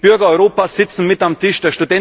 Die Bürger Europas sitzen mit am Tisch.